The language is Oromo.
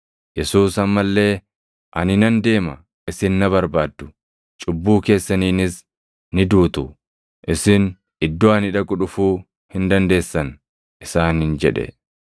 Yesuus amma illee, “Ani nan deema; isin na barbaaddu; cubbuu keessaniinis ni duutu. Isin iddoo ani dhaqu dhufuu hin dandeessan” isaaniin jedhe.